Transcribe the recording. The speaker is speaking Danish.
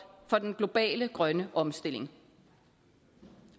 for den globale grønne omstilling